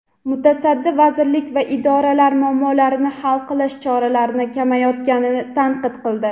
mutasaddi vazirlik va idoralar muammolarni hal qilish choralarini ko‘rmayotganini tanqid qildi.